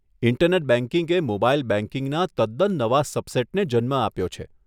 Internet બેંકિંગે mobile બેંકિંગના તદ્દન નવા સબસેટને જન્મ આપ્યો છે.